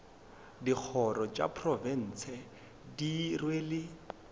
dikgoro tša profense di rwele